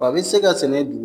W'a be se ka sɛnɛ du